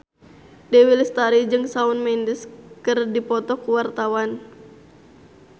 Dewi Lestari jeung Shawn Mendes keur dipoto ku wartawan